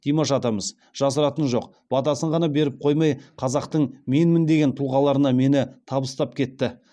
димаш атамыз жасыратыны жоқ батасын ғана беріп қоймай қазақтың менмін деген тұлғаларына мені табыстап кетті